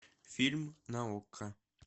фильм на окко